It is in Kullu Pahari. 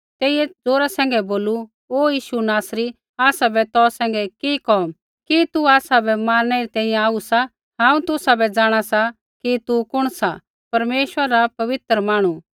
तेइयै ज़ोरा सैंघै बोलू ओ यीशु नासरी आसाबै तौ सैंघै कि कोम कि तू आसाबै मारणै री तैंईंयैं आऊ सा हांऊँ तुसाबै जाँणा सा तू कुण सा परमेश्वरा रा पवित्र मांहणु